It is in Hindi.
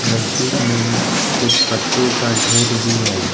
नजदीक में ही कुछ पत्तों का ढेर भी है।